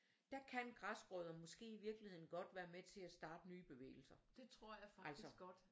Der kan græsrødder måske i virkeligheden godt være med til at starte nye bevægelser altså